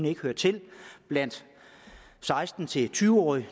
ikke hører til blandt seksten til tyve årige